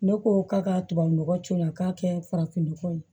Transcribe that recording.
Ne ko k'a ka tubabu nɔgɔ ce a ka kɛ farafinnɔgɔ ye